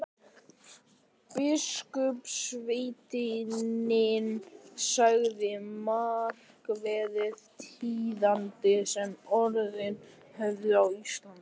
Biskupssveinninn sagði markverð tíðindi sem orðið höfðu á Íslandi.